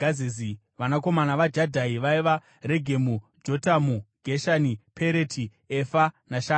Vanakomana vaJadhai vaiva: Regemu, Jotamu, Geshani, Pereti, Efa naShaafi.